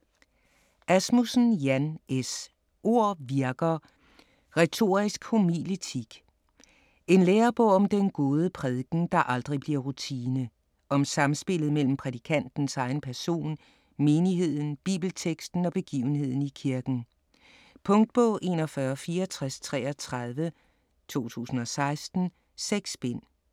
Asmussen, Jan S.: Ord virker: retorisk homiletik En lærebog om den gode prædiken, der aldrig bliver rutine. Om samspillet mellem prædikantens egen person, menigheden, bibelteksten og begivenheden i kirken. Punktbog 416433 2016. 6 bind.